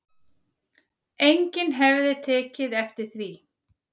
Enginn hefði tekið eftir því